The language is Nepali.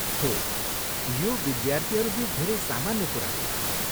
हो, यो विद्यार्थीहरू बिच धेरै सामान्य कुरा हो।